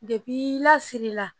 i lasiri la